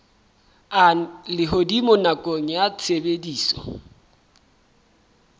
a lehodimo nakong ya tshebediso